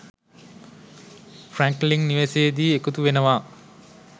Franklin නිවසේදී එකතු වෙනවා